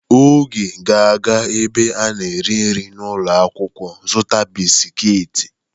Oge ga-aga ebe a na-eri nri n'ulo akwukwo zuta bisikiiti.